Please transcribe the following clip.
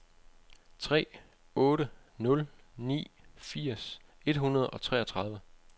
tre otte nul ni firs et hundrede og treogtredive